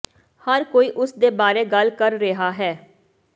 ਹਰ ਕੋਈ ਉਸ ਦੇ ਬਾਰੇ ਗੱਲ ਕਰ ਰਿਹਾ ਹੈ